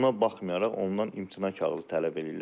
Buna baxmayaraq ondan imtina kağızı tələb eləyirlər.